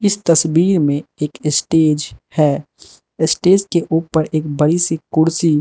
तस्वीर में एक स्टेज है स्टेज के ऊपर एक बड़ी सी कुर्सी--